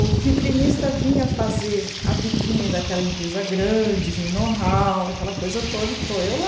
O vitrinista vinha fazer a vitrine daquela empresa grande, de know-how, aquela coisa toda, e estou eu lá.